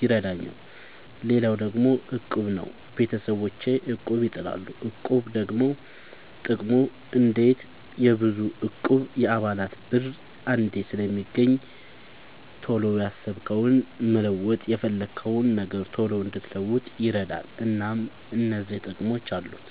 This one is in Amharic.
ይረዳኛል። ሌላው ደግሞ እቁብ ነው። ቤተሰቦቼ እቁብ ይጥላሉ። እቁብ ደግሞ ጥቅሙ አንዴ የብዙ እቁብ የአባላት ብር አንዴ ስለሚገኝ ቶሎ ያሰብከውን መለወጥ የፈለግከውን ነገር ቶሎ እንድትለውጥ ይረዳል። እናም እነዚህ ጥቅሞች አሉት።